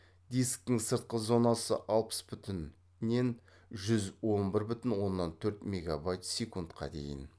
дисктің сыртқы зонасы алпыс бүтінннен жүз он бір бүтін оннан төрт мегабайт секундқа дейін